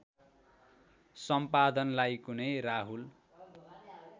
सम्पादनलाई कुनै राहुल